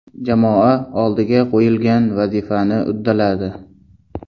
Jamoa oldiga qo‘yilgan vazifani uddaladi.